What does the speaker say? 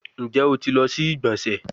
Njẹ o ti lọ si igbonse?